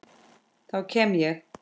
Þá kem ég